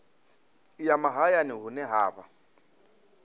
ya mahayani hune ha vha